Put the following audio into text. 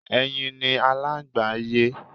Ẹyin ni Aláǹgbá ń yé.